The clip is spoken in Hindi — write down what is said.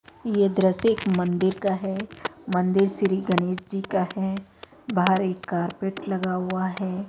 ये दृश्य एक मंदिर का है मंदिर श्री गणेश जी का है बाहर एक कारपेट लगा हुआ है।